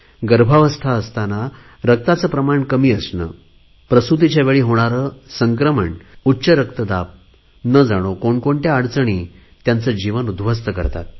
गर्भावस्था असताना रक्ताचे प्रमाण कमी असणे प्रसुतीच्या वेळी होणारे संक्रमण उच्च रक्तदाब न जाणो कोणकोणत्या अडचणी त्यांचे जीवन उध्वस्त करतात